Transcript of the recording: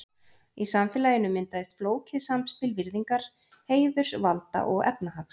Í samfélaginu myndaðist flókið samspil virðingar, heiðurs, valda og efnahags.